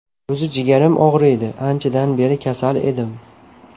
O‘zi jigarim og‘riydi, anchadan beri kasal edim.